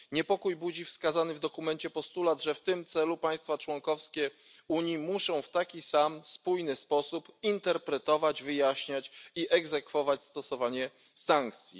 Niepokój budzi wskazany w dokumencie postulat, że w tym celu państwa członkowskie Unii muszą w taki sam spójny sposób interpretować, wyjaśniać i egzekwować stosowanie sankcji.